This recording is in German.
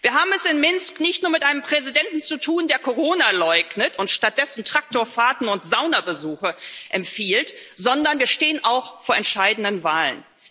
Wir haben es in Minsk nicht nur mit einem Präsidenten zu tun, der Corona leugnet und stattdessen Traktorfahrten und Saunabesuche empfiehlt, sondern wir stehen auch vor entscheidenden Wahlen.